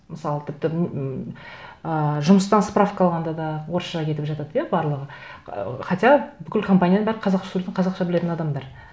мысалы тіпті м ыыы жұмыстан справка алғанда да орысша кетіп жатады иә барлығы хотя бүкіл компанияның бәрі қазақша сөйлейтін қазақша білетін адамдар